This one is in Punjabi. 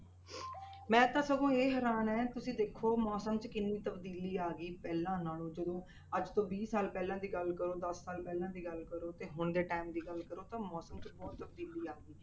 ਮੈਂ ਤਾਂ ਸਗੋਂ ਇਹ ਹੈਰਾਨ ਹੈ, ਤੁਸੀਂ ਦੇਖੋ ਮੌਸਮ 'ਚ ਕਿੰਨੀ ਤਬਦੀਲੀ ਆ ਗਈ ਪਹਿਲਾਂ ਨਾਲੋਂ ਜਦੋਂ ਅੱਜ ਤੋਂ ਵੀਹ ਸਾਲ ਪਹਿਲਾਂ ਦੀ ਗੱਲ ਕਰੋ ਦਸ ਸਾਲ ਪਹਿਲਾਂ ਦੀ ਗੱਲ ਕਰੋ ਤੇ ਹੁਣ ਦੇ time ਦੀ ਗੱਲ ਕਰੋ ਤਾਂ ਮੌਸਮ 'ਚ ਬਹੁਤ ਤਬਦੀਲੀ ਆ ਗਈ।